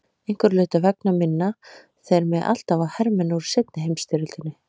Einhverra hluta vegna minna þeir mig alltaf á hermenn úr seinni heimsstyrjöldinni.